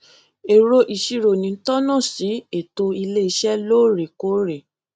èrò ìṣirò ni tónà sí ètò iléiṣẹ lóòrèkóòrè